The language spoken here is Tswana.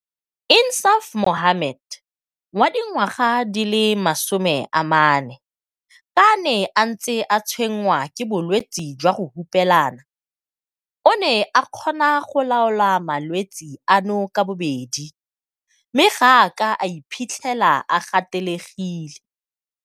Insaaf Mohammed, wa dingwaga di le 40, ka a ne a ntse a tshwenngwa ke bolwetse jwa go hupelana, o ne a kgona go laola malwetse ano ka bobedi mme ga a a ke a iphitlhela a gatelegile.